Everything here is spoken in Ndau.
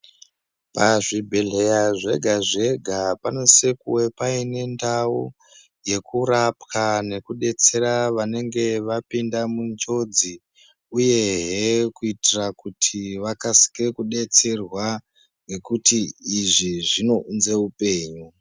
Pazvibhedhlera zvega zvega panosise kuwe paine ndao yekurapwa ngekubetsera vanenga vapinde munjodzi uyehe kuitira kuti vakasikire kubetserwa ngekuti izvi zvinounze upenyu .